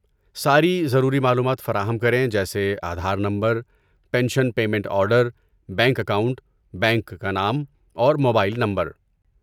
ساری ضروری معلومات فراہم کریں جیسے Aadhaar number, pension payment order, bank account, bank کا نام، اور موبائل نمبر۔